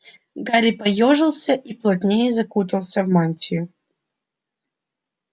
гарри поёжился и плотнее закутался в мантию